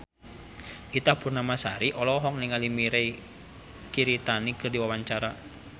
Ita Purnamasari olohok ningali Mirei Kiritani keur diwawancara